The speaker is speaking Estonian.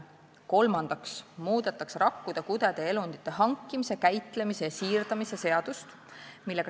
Kolmandaks muudetakse rakkude, kudede ja elundite hankimise, käitlemise ja siirdamise seadust.